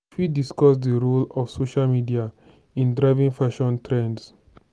you fit discuss di role of social media in driving fashion trends.